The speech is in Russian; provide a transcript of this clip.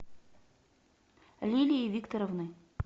лилии викторовны